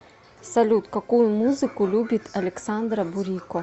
салют какую музыку любит александра бурико